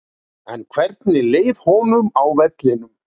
En hvernig leið honum á vellinum?